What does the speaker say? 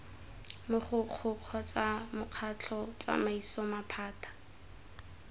mogokgo kgotsa mokgatlho tsamaiso maphata